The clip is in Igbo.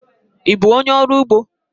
Ị bụ onyé ọrụ ugbo?